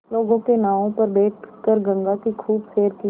लोगों के नावों पर बैठ कर गंगा की खूब सैर की